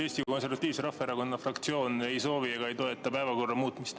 Eesti Konservatiivse Rahvaerakonna fraktsioon ei soovi ega toeta päevakorra muutmist.